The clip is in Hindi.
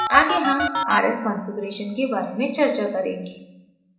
आगे हम rs configuration के बारे में चर्चा करेंगे